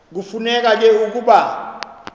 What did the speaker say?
kufuneka ke ukuba